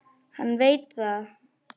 Hann veit það.